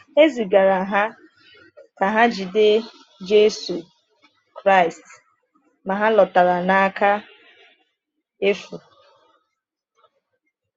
E zigara ha ka ha jide Jésù Kraịst, ma ha lọtara n’aka efu.